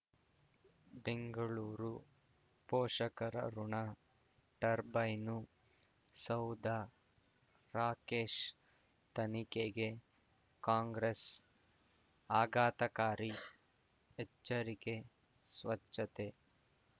ಬೆಂಗಳೂರು ಪೋಷಕರಋಣ ಟರ್ಬೈನು ಸೌಧ ರಾಕೇಶ್ ತನಿಖೆಗೆ ಕಾಂಗ್ರೆಸ್ ಆಘಾತಕಾರಿ ಎಚ್ಚರಿಕೆ ಸ್ವಚ್ಛತೆ